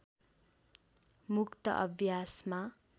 मुक्त अभ्यासमा